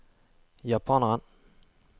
japaneren